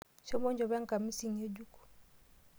Shomo inchopo enkamisi ng'ejuk.